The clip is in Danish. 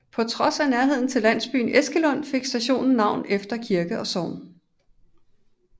På trods af nærheden til landsbyen Æskelund fik stationen navn efter kirke og sogn